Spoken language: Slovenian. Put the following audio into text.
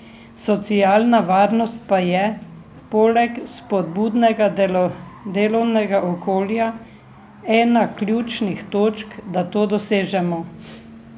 Socialna varnost pa je, poleg spodbudnega delovnega okolja, ena ključnih točk, da to dosežemo.